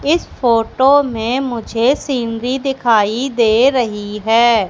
इस फोटो में मुझे सीनरी दिखाई दे रही है। जा